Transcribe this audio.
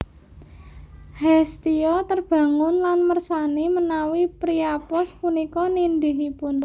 Hestia terbangun lan mersani menawi Priapos punika nindihipun